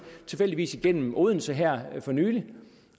tilfældigvis igennem odense her for nylig